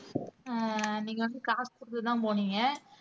ஆஹ் நீங்க வந்து காசு குடுத்துதான் போனீங்க